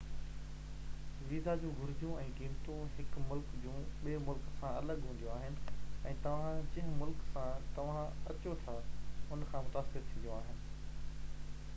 visa جون گهرجون ۽ قيمتون هڪ ملڪ جون ٻي ملڪ سان الڳ هونديون آهن ۽ توهان جنهن ملڪ سان توهان اچو ٿا ان کان متاثر ٿينديون آهن